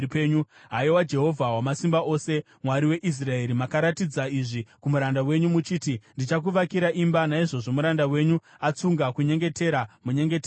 “Haiwa Jehovha Wamasimba Ose, Mwari weIsraeri, makaratidza izvi kumuranda wenyu, muchiti, ‘Ndichakuvakira imba.’ Naizvozvo muranda wenyu atsunga kunyengetera, munyengetero uyu.